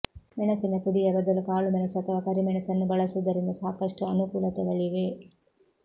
ಮೆಣಸಿನ ಪುಡಿಯ ಬದಲು ಕಾಳುಮೆಣಸು ಅಥವಾ ಕರಿ ಮೆಣಸನ್ನು ಬಳಸುವುದರಿಂದ ಸಾಕಷ್ಟು ಅನುಕೂಲತೆಗಳಿವೆ